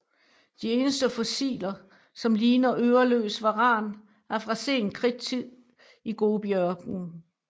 De eneste fossiler som ligner øreløs varan er fra sen kridt i Gobiørkenen